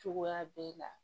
Cogoya b'e la